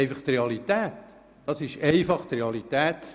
Das ist eine Realität.